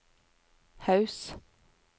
Haus